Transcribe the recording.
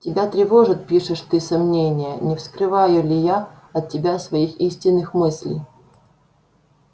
тебя тревожат пишешь ты сомнения не скрываю ли я от тебя своих истинных мыслей